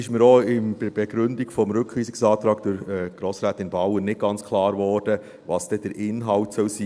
Es wurde mir auch bei der Begründung des Rückweisungsantrags von Grossrätin Bauer nicht ganz klar, was denn der Inhalt sein sollte.